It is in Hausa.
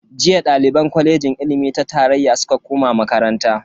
Jiya daliban kwalejin ilimi ta tarayya suka koma makaranta.